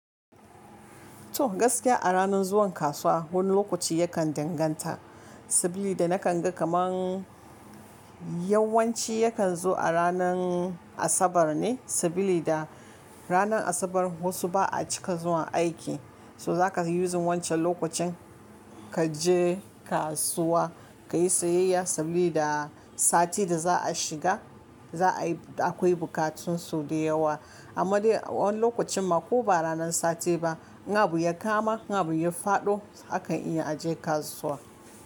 To gaskiya a ranar zuwan kasuwa wani lokaci yakan danganta, sabili da nakan ga kamar yawanci yakan zo a ranar Asabar ne, sabilida ranar Asabar wasu ba a cika zuwa aiki, so zaka yi yuzin wancan lokacin kaje kasuwa kayi sayayya sabida sati da za a shiga za a yi akwai bukatun su da yawa. Amma dai wani lokacin ma ko ba ranar sati ba, in abu ya kama in abu ya faɗo akan iya a je kasuwa.